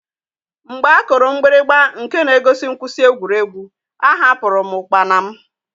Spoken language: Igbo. Mgbe a kụrụ mgbirigba nke na-egosi mkwụsị egwuregwu, ahapụru m ụkpana m.